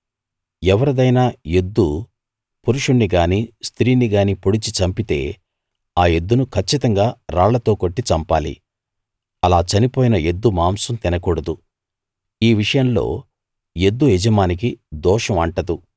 ఎవరిదైనా ఎద్దు పురుషుణ్ణి గానీ స్త్రీని గానీ పొడిచి చంపితే ఆ ఎద్దును కచ్చితంగా రాళ్లతో కొట్టి చంపాలి అలా చనిపోయిన ఎద్దు మాంసం తినకూడదు ఈ విషయంలో ఎద్దు యజమానికి దోషం అంటదు